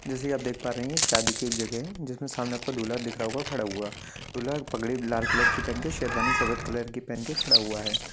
जैसे ये आप देख पा रहे है ये शादी की एक जगह है जिसमे सामने आपको एक दूल्हा दिख रहा होगा खड़ा हुआ दूल्हा पगड़ी लाल कलर की पहन के शेरवानी सफ़ेद कलर खड़ा हुआ है।